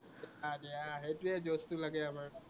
গা বেয়াা, সেইটোৱেই জৌচটো লাগে আমাক